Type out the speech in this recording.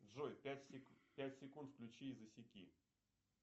джой пять секунд включи и засеки